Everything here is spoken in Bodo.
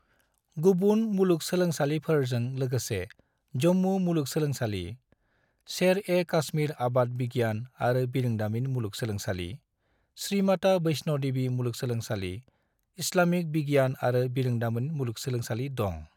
गुबुन मुलुगसोलोंसालिफोरजों लोगोसे जम्मू मुलुगसोलोंसालि, शेर-ए-कश्मीर आबाद बिगियान आरो बिरोंदारिमिन मुलुगसोलोंसालि, श्री माता वैष्णो देवी मुलुगसोलोंसालि, इस्लामिक बिगियान आरो बिरोंदारिमिन मुलुगसोलोंसालि दं।